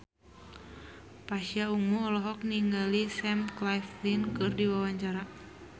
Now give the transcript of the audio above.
Pasha Ungu olohok ningali Sam Claflin keur diwawancara